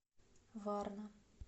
варна